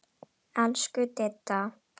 Elsku Didda.